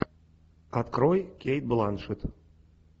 открой кейт бланшетт